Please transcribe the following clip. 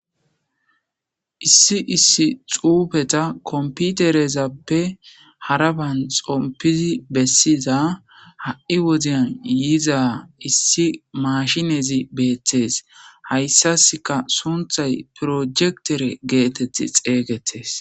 issi issi xuufeta komputerezappe haraban xompizi bessiza ha7i woziyan yiiza issi mashinezi beethtees hayssaska sunthay projektere geetett xeeygettes